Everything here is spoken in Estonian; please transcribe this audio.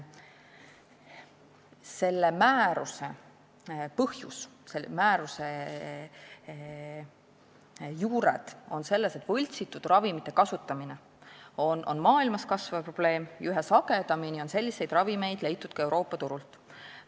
Selle määruse väljatöötamise põhjus, selle määruse juured on selles, et võltsitud ravimite kasutamine on maailmas kasvav probleem ja üha sagedamini on selliseid ravimeid leitud ka Euroopa turult.